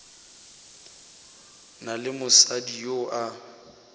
na le mosadi yo a